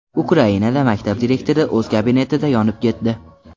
Ukrainada maktab direktori o‘z kabinetida yonib ketdi.